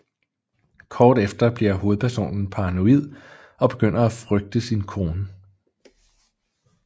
Kort efter bliver hovedpersonen paranoid og begynder at frygte sin kone